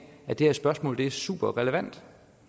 at det her spørgsmål er super relevant